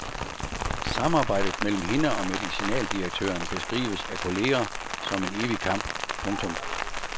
Samarbejdet mellem hende og medicinaldirektøren beskrives af kolleger som en evig kamp. punktum